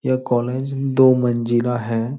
यह कॉलेज दो मंजिला हैं।